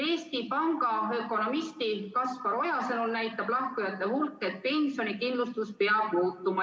Eesti Panga ökonomisti Kaspar Oja sõnul näitab lahkujate hulk, et pensionikindlustus peab muutuma.